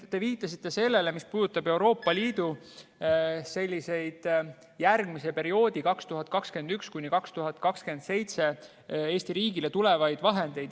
Te viitasite Euroopa Liidu järgmisel perioodil, aastatel 2021–2027 Eesti riigile tulevatele vahenditele.